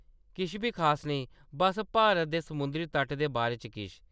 किश बी खास नेईं, बस्स भारत दे समुंदरी तट दे बारे च किश ।